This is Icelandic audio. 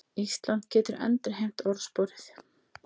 Ísland getur endurheimt orðsporið